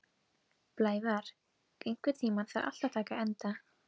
Blævar, einhvern tímann þarf allt að taka enda.